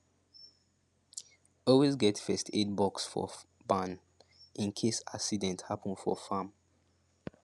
always get first aid box for barn in case accident happen for farm